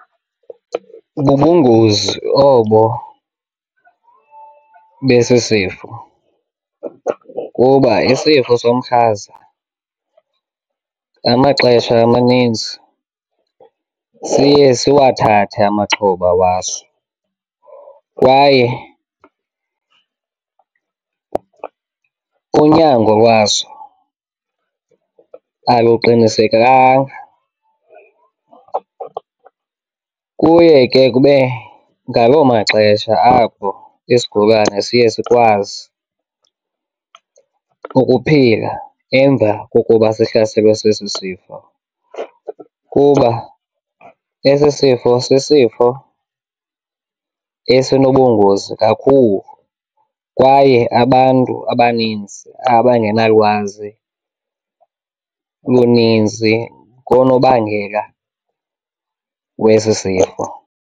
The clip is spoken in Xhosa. Bubungozi obo besi sifo kuba isifo somhlaza ngamaxesha amaninzi siye siwathathe amaxhoba waso kwaye unyango lwaso aluqinisekanga. Kuye ke kube ngaloo maxesha apho isigulane siye sikwazi ukuphila emva kokuba sihlaselwe sesi sifo kuba esi sifo sisifo esinobungozi kakhulu kwaye abantu abaninzi abangenalwazi luninzi ngoonobangela wesi sifo.